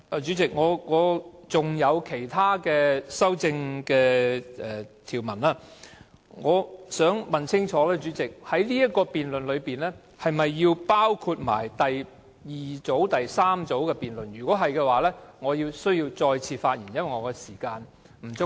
主席，我還有其他修正案。我想問清楚，這項辯論是否同時包括第二組及第三組的修正案；如果是，我便需要再次發言，因為我的時間不足夠？